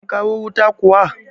An kawo wuta kuwa?